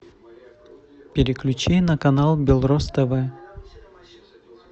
переключи на канал белрос тв